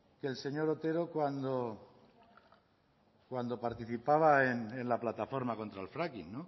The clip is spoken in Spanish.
que el señor otero cuando participaba en la plataforma contra el fracking